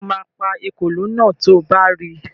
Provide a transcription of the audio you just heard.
Sọ ma pa ekòló náà to bá ri?